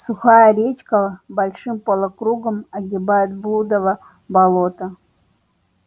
сухая речка большим полукругом огибает блудово болото